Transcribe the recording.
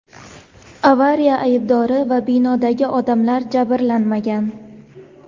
Avariya aybdori va binodagi odamlar jabrlanmagan.